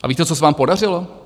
A víte, co se vám podařilo?